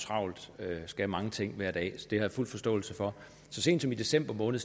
travlt og skal mange ting hver dag så det har jeg fuld forståelse for så sent som i december måned